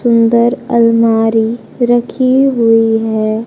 सुंदर अलमारी रखी हुई है।